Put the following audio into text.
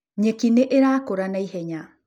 Nyeki nĩ ĩrakũra na ihenya.